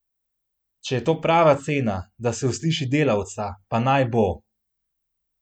Če je to prava cena, da se usliši delavca, pa naj bo!